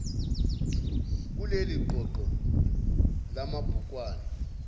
kuleli qoqo lamabhukwana